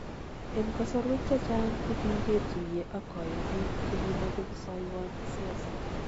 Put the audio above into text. En kosorwek chechang kokiketuye ak koyonik chekimoche kosoiwon siosob.